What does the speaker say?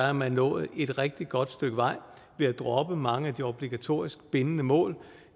er nået et rigtig godt stykke vej ved at droppe mange af de obligatoriske bindende mål